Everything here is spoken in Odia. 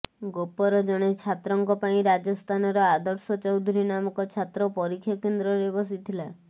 ଗୋପର ଜଣେ ଛାତ୍ରଙ୍କ ପାଇଁ ରାଜସ୍ତାନର ଆଦର୍ଶ ଚୌଧୁରୀ ନାମକ ଛାତ୍ର ପରୀକ୍ଷା କେନ୍ଦ୍ରରେ ବସିଥିଲା